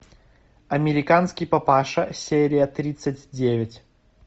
американский папаша серия тридцать девять